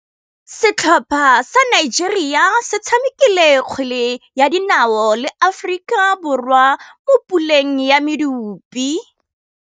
Setlhopha sa Nigeria se tshamekile kgwele ya dinaô le Aforika Borwa mo puleng ya medupe.